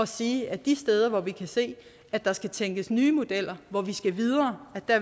sige at de steder hvor vi kan se at der skal tænkes nye modeller hvor vi skal videre